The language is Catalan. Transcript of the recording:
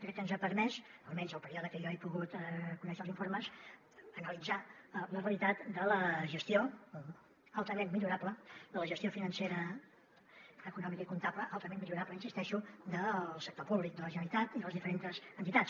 crec que ens ha permès almenys el període en què jo he pogut conèixer els informes analitzar la realitat de la gestió altament millorable financera econòmica i comptable altament millorable hi insisteixo del sector públic de la generalitat i de les diferents entitats